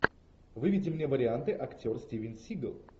выведи мне варианты актер стивен сигал